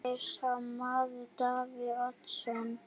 Er sá maður Davíð Oddsson?